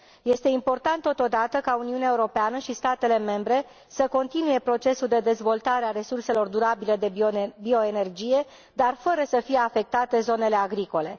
Este important, totodată, ca Uniunea Europeană și statele membre să continue procesul de dezvoltare a resurselor durabile de bioenergie, dar fără să fie afectate zonele agricole.